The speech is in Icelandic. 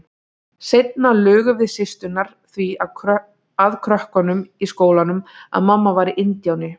Seinna lugum við systurnar því að krökkunum í skólanum að mamma væri indíáni.